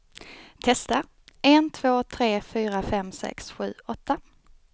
Testar en två tre fyra fem sex sju åtta.